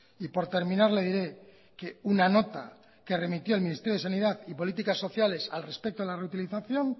y por terminar le diré que una nota que remitió el ministerio de sanidad y políticas sociales al respecto de la reutilización